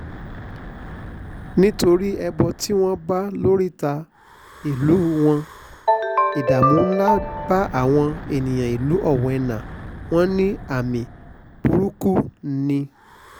nítorí ẹbọ tí wọ́n bá lóríta ìlú wọn ìdààmú ńlá bá àwọn èèyàn ìlú owena wọn ní àmì burúkú ni